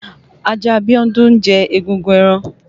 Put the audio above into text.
Ajá Bíọ́dún ń jẹ egungun ẹran.